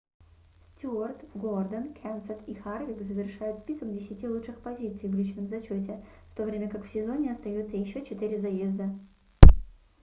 стюарт гордон кенсет и харвик завершают список десяти лучших позиций в личном зачёте в то время как в сезоне остаётся ещё 4 заезда